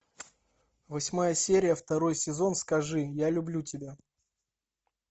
восьмая серия второй сезон скажи я люблю тебя